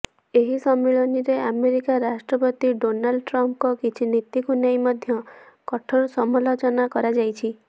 ଏହି ସମ୍ମିଳନୀରେ ଆମେରିକା ରାଷ୍ଟ୍ରପତି ଡୋନାଲ୍ଡ ଟ୍ରମ୍ପଙ୍କ କିଛି ନୀତିକୁ ନେଇ ମଧ୍ୟ କଠୋର ସମାଲୋଚନା କରାଯାଇଛି